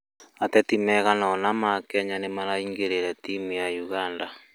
atetĩ maigana ona a Kenya nĩaraĩngĩrĩire tĩmũ ya Uganda